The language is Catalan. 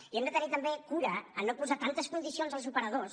i hem de tenir també cura a no posar tantes condicions als operadors